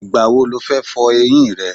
Ìgbà wo lo fọ eyín rẹ?